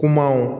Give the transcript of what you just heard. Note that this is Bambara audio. Kumaw